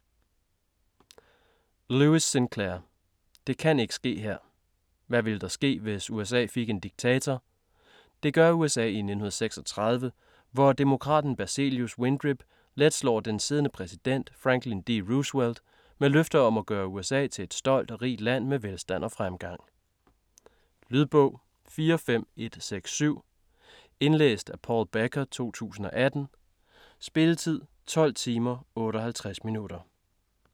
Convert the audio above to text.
Lewis, Sinclair: Det kan ikke ske her Hvad ville der ske, hvis USA fik en diktator? Det gør USA i 1936, hvor demokraten Berzelius Windrip let slår den siddende præsident, Franklin D. Roosevelt, med løfter om at gøre USA til et stolt og rigt land med velstand og fremgang. Lydbog 45167 Indlæst af Paul Becker, 2018. Spilletid: 12 timer, 58 minutter.